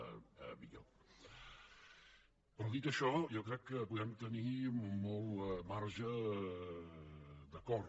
però dit això jo crec que podem tenir molt marge d’acord